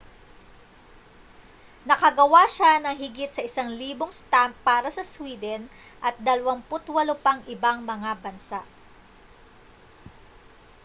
nakagawa siya ng higit sa 1,000 stamp para sa sweden at 28 pang ibang mga bansa